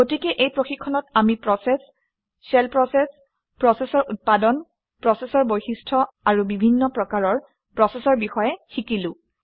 গতিকে এই প্ৰশিক্ষণত আমি প্ৰচেচ শ্বেল প্ৰচেচ প্ৰচেচৰ উৎপাদন প্ৰচেচৰ বৈশিষ্ট্য আৰু বিভিন্ন প্ৰকাৰৰ প্ৰচেচৰ বিষয়ে শিকিলো